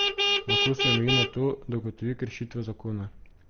Lahko se omeji na to, da ugotovi kršitev zakona.